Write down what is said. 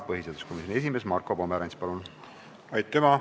Põhiseaduskomisjoni esimees Marko Pomerants, palun!